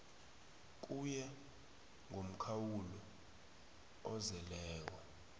kuye ngomkhawulo ozeleko